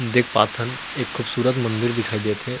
देख पाथन एक खूबसूरत मंदिर दिखाई देत हे।